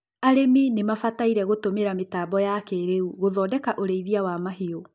arĩmi nimabataire gũtũmĩra mĩtambo ya kĩĩrĩu gũthodeka ũreithia wa mahiũ